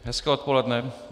Hezké odpoledne.